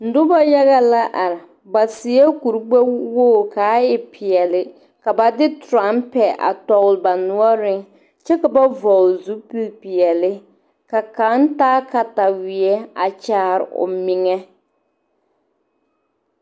Noba la maala pɔŋpiŋ dɔɔ kaŋa na su kpare zeɛ nuwogre a seɛ kuri sɔglaa woge are nyɔge la kuruu taa pɔge kaŋa naŋ su kpare sɔglaa nuŋŋmaara a seɛ mugkuri pilaa meŋ ŋmaara la kuruu.